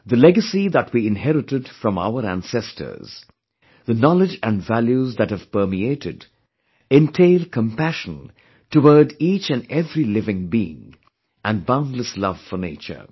The legacy that we inherited from our ancestors, the knowledge & values that have permeated entail compassion toward each & every living being and boundless love for nature